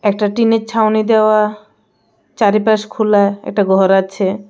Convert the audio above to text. একটা টিনের ছাউনি দেওয়া চারিপাশ খোলা একটা ঘর আছে।